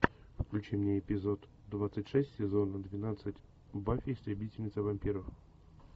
включи мне эпизод двадцать шесть сезона двенадцать баффи истребительница вампиров